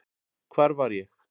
Hvar var ég?